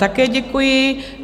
Také děkuji.